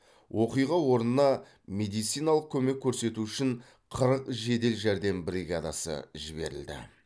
оқиға орнына медициналық көмек көрсету үшін қырық жедел жәрдем бригадасы жіберілді